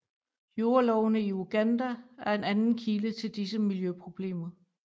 Jordlovene i Uganda er en anden kilde til disse miljøproblemer